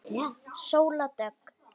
Sóldögg